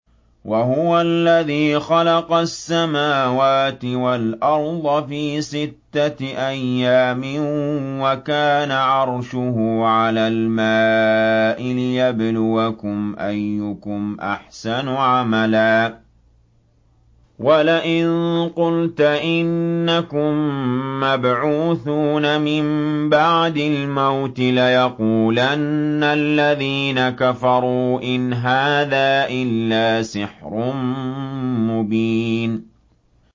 وَهُوَ الَّذِي خَلَقَ السَّمَاوَاتِ وَالْأَرْضَ فِي سِتَّةِ أَيَّامٍ وَكَانَ عَرْشُهُ عَلَى الْمَاءِ لِيَبْلُوَكُمْ أَيُّكُمْ أَحْسَنُ عَمَلًا ۗ وَلَئِن قُلْتَ إِنَّكُم مَّبْعُوثُونَ مِن بَعْدِ الْمَوْتِ لَيَقُولَنَّ الَّذِينَ كَفَرُوا إِنْ هَٰذَا إِلَّا سِحْرٌ مُّبِينٌ